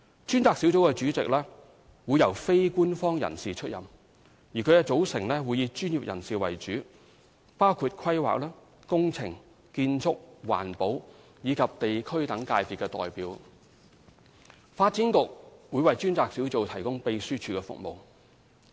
專責小組主席會由非官方人士出任，其組成會以專業人士為主，包括規劃、工程、建築、環保及地區等界別代表，發展局將為專責小組提供秘書處服務。